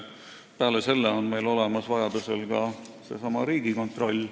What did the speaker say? Peale selle on meil olemas Riigikontroll.